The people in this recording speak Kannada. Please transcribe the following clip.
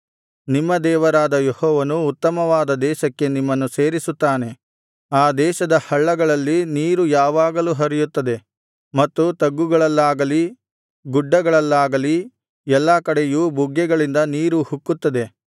ನಿಮ್ಮ ದೇವರಾದ ಯೆಹೋವನು ಉತ್ತಮವಾದ ದೇಶಕ್ಕೆ ನಿಮ್ಮನ್ನು ಸೇರಿಸುತ್ತಾನೆ ಆ ದೇಶದ ಹಳ್ಳಗಳಲ್ಲಿ ನೀರು ಯಾವಾಗಲೂ ಹರಿಯುತ್ತದೆ ಮತ್ತು ತಗ್ಗುಗಳಲ್ಲಾಗಲಿ ಗುಡ್ಡಗಳಲ್ಲಾಗಲಿ ಎಲ್ಲಾ ಕಡೆಯೂ ಬುಗ್ಗೆಗಳಿಂದ ನೀರು ಉಕ್ಕುತ್ತದೆ